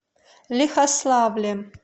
лихославлем